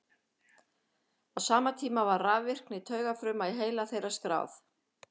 á sama tíma var rafvirkni taugafruma í heila þeirra skráð